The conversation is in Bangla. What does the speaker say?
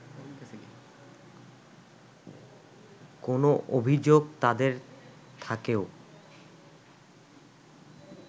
কোন অভিযোগ তাঁদের থাকেও